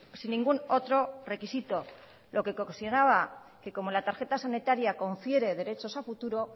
sin ningún otro requisito lo que ocasionaba que como la tarjeta sanitaria confiere derechos a futuro